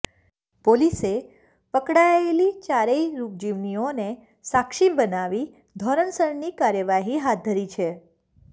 પોલીસે પકડાયેલી ચારેય રૂપજીવિનીઓને સાક્ષી બનાવી ધોરણસરની કાર્યવાહી હાથ ધરી છે